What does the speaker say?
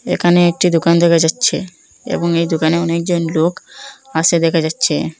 একানে একটি দোকান দেখা যাচ্চে এবং এই দোকানে অনেকজন লোক আসে দেখা যাচ্চে।